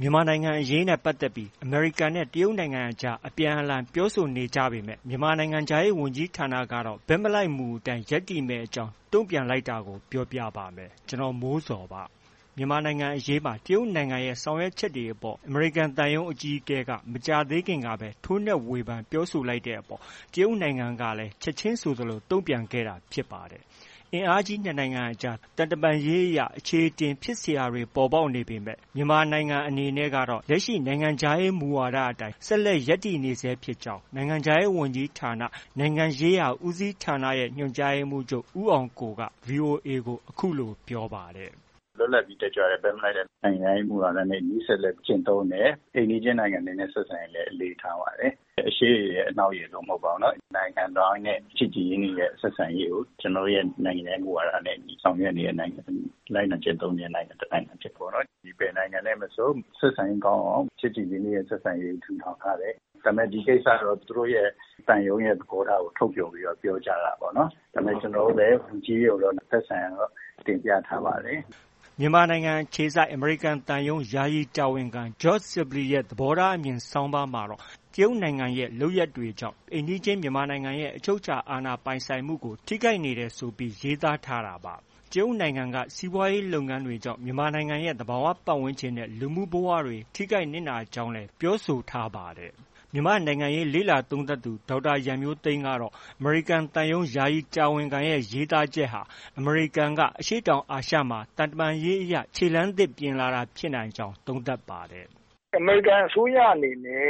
မြန်မာနိုင်ငံအရေးနဲ့ ပတ်သက်ပြီး အမေရိကန်နဲ့ တရုတ်နိုင်ငံကြား အပြန်အလှန် ပြောဆိုနေကြပေမဲ့ မြန်မာနိုင်ငံခြားရေး ဝန်ကြီးဌာနကတော့ ဘက်မလိုက်မူအတိုင်း ရပ်တည်မယ့်အကြောင်း တုံ့ပြန်လိုက်တဲ့အကြောင်း ပြောပြပါမယ်။ ဗွီအိုအေမြန်မာပိုင်း သတင်းထောက် ကိုမိုးဇော်က သတင်းပေးပို့ထားပါတယ်။ မြန်မာနိုင်ငံအရေးမှာ တရုတ်နိုင်ငံရဲ့ ဆောင်ရွက်မှုတွေအပေါ် အမေရိကန်သံရုံး အကြီးအကဲက မကြာသေးခင်ကပဲ ထိုးနှက်ဝေဖန် ပြောဆိုလိုက်တဲ့အပေါ် တရုတ်နိုင်ငံကလည်း ချက်ခြင်းဆိုသလို တုံ့ပြန်ခဲ့တာ ဖြစ်ပါတယ်။ ကမ္ဘာ့အင်အားကြီး နှစ် နိုင်ငံကြား သံတမန်ရေးအရ အချေအတင် ဖြစ်စရာတွေ ပေါ်ပေါက်နေပေမဲ့လည်း မြန်မာနိုင်ငံ အနေနဲ့ကတော့ လက်ရှိနိုင်ငံခြားရေး မူဝါဒတွေအတိုင်း ဆက်လက် ရပ်တည်နေဆဲ ဖြစ်ကြောင်း နိုင်ငံခြားရေးဝန်ကြီးဌာန၊ နိုင်ငံရေးရာဦးစီးဌာနရဲ့ ညွှန်ကြားရေးမှုးချုပ် ဦးအောင်ကိုက ဗွီအိုအေကို အခုလို ပြောပါတယ်။ “လွတ်လပ်ပြီး တက်ကြွတဲ့ ဘက်မလိုက်တဲ့ နိုင်ငံခြားရေးမူဝါဒနဲ့အညီ ဆက်လက်ကျင့်သုံးတယ်။ အိမ်နီးချင်းနိုင်ငံတွေနဲ့ ဆက်ဆံရေးလည်း အလေးထားပါတယ်။ အရှေ့ရယ်၊ အနောက်ရယ်လို့ မဟုတ်ပါဘူးနော်။ နိုင်ငံတိုင်းနဲ့ ချစ်ကြည်ရင်းနှီးတဲ့ ဆက်ဆံရေးကို ကျနော်တို့ရဲ့ နိုင်ငံခြားရေးမူဝါဒနဲ့ အညီ ဆောင်ရွက်နေတဲ့ နိုင်ငံ၊ လိုက်နာကျင့်သုံးနေတဲ့ နိုင်ငံတစ်နိုင်ငံအဖြစ်ပေါ့နော်။ ဘယ်နိုင်ငံနဲ့ မဆို ဆက်ဆံရေးကောင်းအောင် ချစ်ကြည်ရင်းနှီးတဲ့ ဆက်ဆံရေးကို ထူထောင်ထားတယ်။ ဒါပေမဲ့ ဒီကိစ္စကတော့ သူတို့ရဲ့ သံရုံးရဲ့ သဘောထားကို ထုတ်ဖော်ပြီး ပြောကြားတာပေါ့နော်။ ဒါပေမဲ့ ကျနော်တို့လည်း လူကြီးတွေကိုတော့ သက်ဆိုင်ရာကိုတော့ တင်ပြထားပါတယ်။” မြန်မာနိုင်ငံအခြေစိုက် အမေရိကန်သံရုံး ယာယီတာဝန်ခံ George Sibley ရဲ့ သဘောထားအမြင် ဆောင်းပါးမှာတော့ တရုတ်နိုင်ငံရဲ့ လုပ်ရပ်တွေကြောင့် အိမ်နီးချင်း မြန်မာနိုင်ငံရဲ့ အချုပ်အခြာ အာဏာပိုင်ဆိုင်မှုကို ထိခိုက်နေတယ်ဆိုပြီး ရေးသားထားတာပါ။ တရုတ်နိုင်ငံက စီးပွားရေး လုပ်ငန်းတွေကြောင့် မြန်မာနိုင်ငံရဲ့ သဘာဝပတ်ဝန်းကျင်နဲ့ လူမှုဘဝတွေ ထိခိုက်နစ်နာရကြောင်းလည်း ပြောဆိုထားပါတယ်။ မြန်မာ့နိုင်ငံရေးလေ့လာသုံးသပ်သူ ဒေါက်တာရန်မျိုးသိမ်းကတော့ အမေရိကန်သံရုံးယာယီတာဝန်ခံရဲ့ ရေးသားချက်ဟာ အမေရိကန်က အရှေ့တောင်အာရှမှာ သံတမန်ရေးအရ ခြေလှမ်းသစ်ပြင်လာတာ ဖြစ်နိုင်ကြောင်း သုံးသပ်ပါတယ်။ “အမေရိကန်အစိုးရအနေနဲ့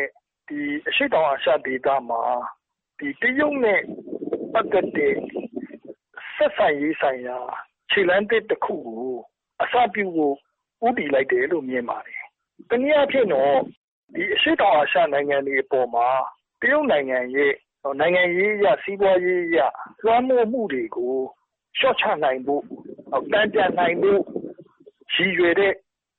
အရှေ့တောင်အာရှ ဒေသမှာ တရုတ်နဲ့ပတ်သက်တဲ့ ဆက်ဆံရေးဆိုင်ရာ ခြေလှမ်းသစ်တစ်ခုကို အစပြုဖို့ ဦးတည်လိုက်တယ်လို့ မြင်ပါတယ်။ တစ်နည်းအားဖြင့်တော့ အရှေ့တောင်အာရှနိုင်ငံတွေအပေါ်မှာ တရုတ်နိုင်ငံရဲ့ နိုင်ငံရေးအရ စီးပွားရေးအရ လွှမ်းမိုးမှုတွေကို လျော့ချနိုင်ဖို့၊ တန်ပြန်နိုင်ဖို့ ရည်ရွယ်တဲ့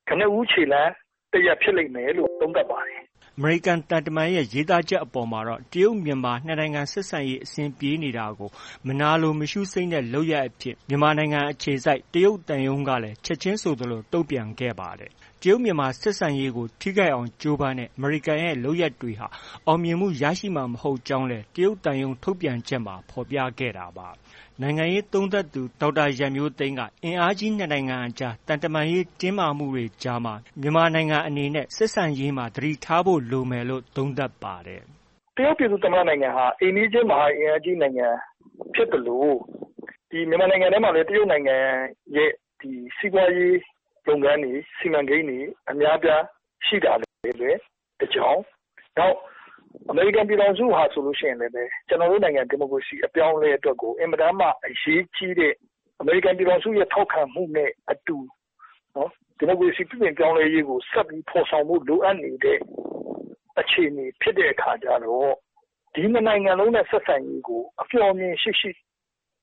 ကနဦးခြေလှမ်း၊ ဖြစ်လိမ့်မယ်လို့ သုံးသပ်ပါတယ်။” အမေရိကန်သံတမန်ရဲ့ ရေးသားချက်အပေါ်မှာတော့ တရုတ်-မြန်မာ ၂ နိုင်ငံ ဆက်ဆံရေး အဆင်ပြေနေတာကို မနာလိုမရှုစိမ့်တဲ့ လုပ်ရပ်အဖြစ် မြန်မာနိုင်ငံအခြေစိုက် တရုတ်သံရုံးကလည်း ချက်ခြင်းဆိုသလို တုံ့ပြန်ခဲ့ပါတယ်။ တရုတ်-မြန်မာ ဆက်ဆံရေးကို ထိခိုက်အောင် ကြိုးပမ်းတဲ့ အမေရိကန်ရဲ့ လုပ်ရပ်တွေဟာ အောင်မြင်မှုရှိမှာ မဟုတ်ကြောင်းလည်း တရုတ်သံရုံးထုတ်ပြန်ချက်မှာ ဖော်ပြခဲ့တာပါ။ နိုင်ငံရေးသုံးသပ်သူ ဒေါက်တာရန်မျိုးသိမ်းကတော့ အင်အားကြီး ၂ နိုင်ငံကြား သံတမန်ရေးတင်းမာမှုတွေကြားမှာ မြန်မာနိုင်ငံအနေနဲ့ ဆက်ဆံရေးမှာ သတိထားဖို့လိုမယ်လို့ သုံးသပ်ပါတယ်။ “တရုတ်ပြည်သူ့ သမ္မတနိုင်ငံဟာ အိမ်နီးချင်း မဟာအင်အားကြီး နိုင်ငံဖြစ်သလို၊ မြန်မာနိုင်ငံထဲမှာလည်း တရုတ်နိုင်ငံရဲ့ စီးပွားရေးလုပ်ငန်းတွေ၊ စီမံကိန်းတွေ အများအပြား ရှိတာတွေလည်း တစ်ကြောင်း၊ နောက် အမေရိကန်ပြည်ထောင်စုဟာဆိုရင်လည်း ကျနော်တို့နိုင်ငံ ဒီမိုကရေစီအပြောင်းအလဲအတွက်ကို အင်မတန်မှ အရေးကြီးတဲ့၊ အမေရိကန်ပြည်ထောင်စုရဲ့ ထောက်ခံမှုနဲ့အတူ ဒီမိုကရေစီပြုပြင်ပြောင်းလဲမှုကို ဆက်ပြီးဖော်ဆောင်ရန် လိုအပ်နေတဲ့ အခြေအနေဖြစ်တဲ့အခါကျတော့ ဒီနှစ်နိုင်ငံလုံးနဲ့ ဆက်ဆံရေးကို အမျှော်အမြင်ရှိရှိနဲ့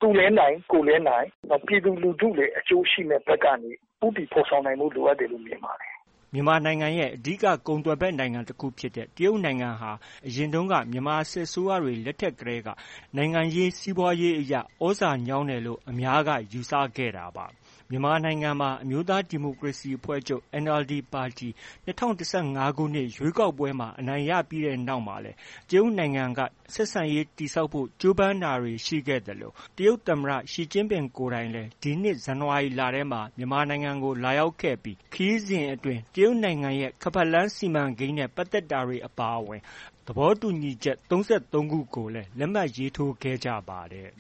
သူလည်းနိုင်၊ ကိုယ်လည်း နိုင်၊ နောက် ပြည်သူလူထုလည်း အကျိုးရှိမယ့် ဘက်ကနေ ဦးတည်ဖော်ဆောင်နိုင်ဖို့ လိုအပ်တယ်လို့ မြင်ပါတယ်။ ” မြန်မာနိုင်ငံရဲ့ အဓိကကုန်သွယ်ဘက် နိုင်ငံတခုဖြစ်တဲ့ တရုတ်နိုင်ငံဟာ အရင်တုန်းက မြန်မာစစ်အစိုးရတွေ လက်ထက်ကတည်းက နိုင်ငံရေး၊ စီးပွားရေးအရ သြဇာညောင်းတယ်လို့ အများက ယူဆခဲ့ကြတာပါ။ မြန်မာနိုင်ငံမှာ အမျိုးသားဒီမိုကရေစီအဖွဲ့ချုပ် (NLD) ပါတီ ၂၀၁၅ ခုနှစ် ရွေးကောက်ပွဲမှာ အနိုင်ရခဲ့ပြီးနောက်မှာလည်း တရုတ်နိုင်ငံက ဆက်ဆံရေး တည်ဆောက်ဖို့ ကြိုးပမ်းတာတွေ ရှိခဲ့သလို၊ တရုတ်သမ္မတ Xi Jinping ကိုယ်တိုင်လည်း ဒီနှစ် ဇန်နဝါရီလထဲမှာပဲ မြန်မာနိုင်ငံကို လာရောက်ခဲ့ပြီး ခရီးစဉ်အတွင်း တရုတ်နိုင်ငံရဲ့ ခါးပတ်လမ်းစီမံကိန်းနဲ့ ပတ်သက်တာတွေ အပါအဝင် သဘောတူညီချက် ၃၃ ခုကိုလည်း လက်မှတ်ရေးထိုးခဲ့ကြပါတယ်